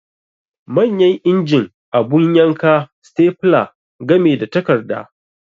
Manyan injin, abu yanka, stepler game da takarda